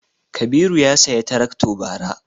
Kabiru ya saya tarakto bara